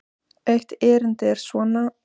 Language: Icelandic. Eitt erindið er svona